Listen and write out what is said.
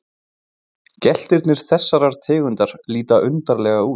Geltirnir þessarar tegundar líta undarlega út.